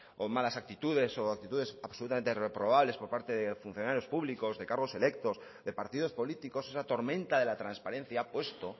o malas actitudes o actitudes absolutamente reprobables por parte de funcionarios públicos de cargos electos de partidos políticos esa tormenta de la transparencia ha puesto